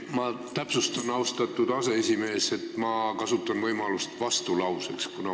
Ma täpsustan, austatud aseesimees, et ma kasutan vastulause võimalust.